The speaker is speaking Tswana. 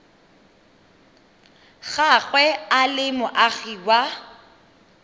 gagwe e le moagi wa